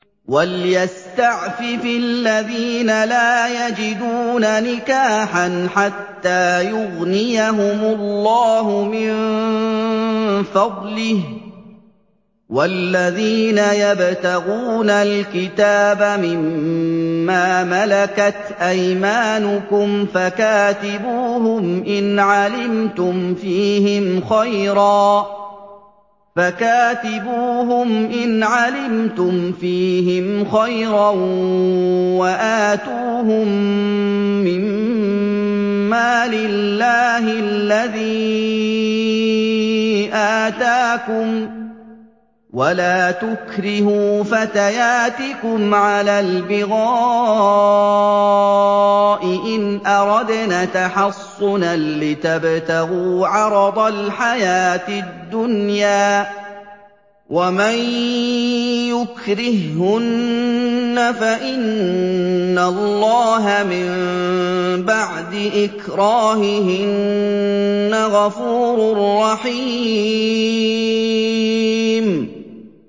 وَلْيَسْتَعْفِفِ الَّذِينَ لَا يَجِدُونَ نِكَاحًا حَتَّىٰ يُغْنِيَهُمُ اللَّهُ مِن فَضْلِهِ ۗ وَالَّذِينَ يَبْتَغُونَ الْكِتَابَ مِمَّا مَلَكَتْ أَيْمَانُكُمْ فَكَاتِبُوهُمْ إِنْ عَلِمْتُمْ فِيهِمْ خَيْرًا ۖ وَآتُوهُم مِّن مَّالِ اللَّهِ الَّذِي آتَاكُمْ ۚ وَلَا تُكْرِهُوا فَتَيَاتِكُمْ عَلَى الْبِغَاءِ إِنْ أَرَدْنَ تَحَصُّنًا لِّتَبْتَغُوا عَرَضَ الْحَيَاةِ الدُّنْيَا ۚ وَمَن يُكْرِههُّنَّ فَإِنَّ اللَّهَ مِن بَعْدِ إِكْرَاهِهِنَّ غَفُورٌ رَّحِيمٌ